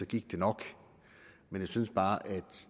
gik det nok men jeg synes bare at